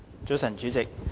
早晨，主席。